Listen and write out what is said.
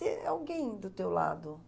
Ter alguém do teu lado.